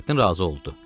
Nurəddin razı oldu.